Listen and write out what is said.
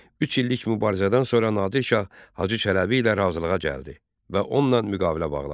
Üç illik mübarizədən sonra Nadir Şah Hacı Çələbi ilə razılığa gəldi və onunla müqavilə bağladı.